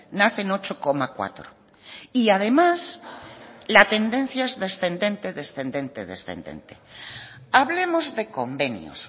nacen ocho coma cuatro y además la tendencia es descendente descendente descendente hablemos de convenios